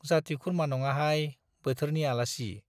जाति खुरमा नङाहाय, बोथोरनि आलासि।